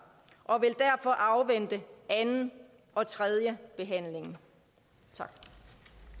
og vi vil derfor afvente anden og tredje behandling